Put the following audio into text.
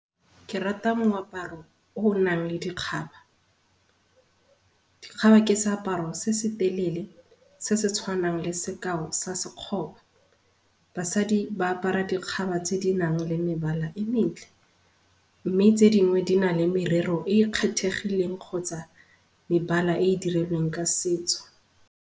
Ke rata moaparo o o nang le dikgaba. Dikgaba ke seaparo se se telele se setshwanang le sekao sa sekgoba. Basadi ba apara dikgaba tse di nang le mebala e metle, mme tse dingwe dina le merero e e kgethegileng kgotsa mebala e e dirilweng ka setso.